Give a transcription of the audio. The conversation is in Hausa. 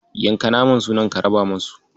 Yanka naman sunan ka raba musu.